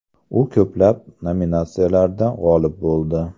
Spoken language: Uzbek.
U ko‘plab nominatsiyalarda g‘olib bo‘ldi.